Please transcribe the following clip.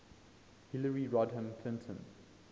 hillary rodham clinton